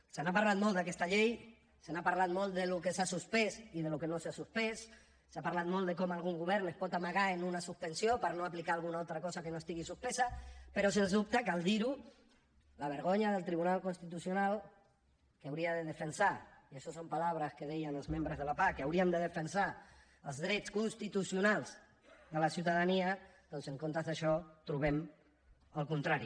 se n’ha parlat molt d’aquesta llei se n’ha parlat molt del que s’ha suspès i del que no s’ha suspès s’ha parlat molt de com algun govern es pot amagar en una suspensió per no aplicar alguna altra cosa que no estigui suspesa però sens dubte cal dir ho la vergonya del tribunal constitucional que hauria de defensar i això són paraules que deien els membres de la pah que haurien de defensar els drets constitucionals de la ciutadania doncs en comptes d’això trobem el contrari